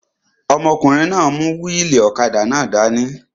Ọmọkùnrin náà n mú wíìlì ọ̀kadà náà dání